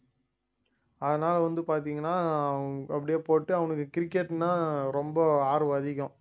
அதனால வந்து பார்த்தீங்கன்னா அப்படியே போட்டு அவனுக்கு cricket ன்னா ரொம்ப ஆர்வம் அதிகம்